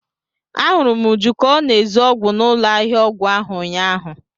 A hụrụ m Uju ka ọ na-ezu ọgwụ n'ụlọ ahịa ọgwụ ahụ ụnyahụ.